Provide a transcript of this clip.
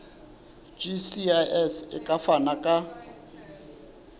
gcis e ka fana ka